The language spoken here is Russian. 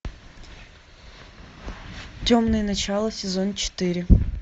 темное начало сезон четыре